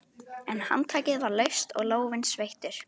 En handtakið var laust og lófinn sveittur.